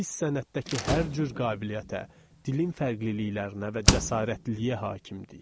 Biz sənətdəki hər cür qabiliyyətə, dilin fərqliliklərinə və cəsarətliliyə hakim idik.